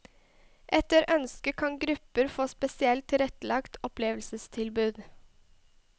Etter ønske kan grupper få spesielt tilrettelagte opplevelsestilbud.